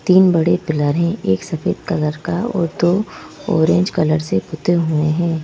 तीन बड़े पिलर हैं एक सफेद कलर का और दो ऑरेंज कलर से पुते हुए हैं।